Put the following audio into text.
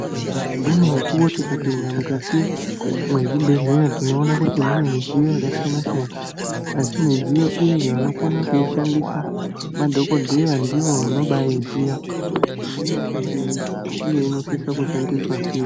Mimweni mukuwo tikapinde mukati mwezvibhedhleya tinoona kuti mune midziyo yakasiyana siyana asi midziyo iyi vanokona kuishandisa madhokodheya ndivo vanobaiziya kuti inoshandei uye inosisa kushandiswa sei.